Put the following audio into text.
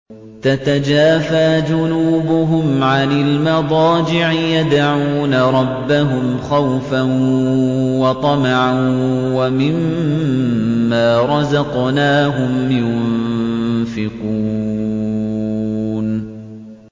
تَتَجَافَىٰ جُنُوبُهُمْ عَنِ الْمَضَاجِعِ يَدْعُونَ رَبَّهُمْ خَوْفًا وَطَمَعًا وَمِمَّا رَزَقْنَاهُمْ يُنفِقُونَ